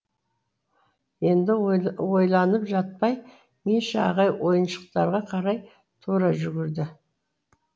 енді ойланып жатпай миша ағай ойыншықтарға қарай тұра жүгірді